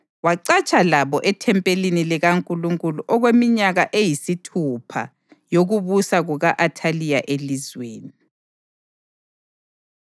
Wacatsha labo ethempelini likaNkulunkulu okweminyaka eyisithupha yokubusa kuka-Athaliya elizweni.